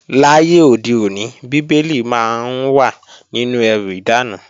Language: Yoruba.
Láyé òde òní, Bíbélì máa ń wà nínú ẹrù ìdáná